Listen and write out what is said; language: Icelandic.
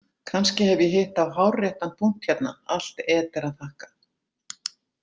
Kannski hef ég hitt á hárréttan punkt hérna, allt Eder að þakka.